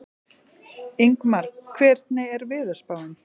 Ingmar, hvernig er veðurspáin?